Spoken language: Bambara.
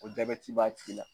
ko jabɛti b'a tigi la.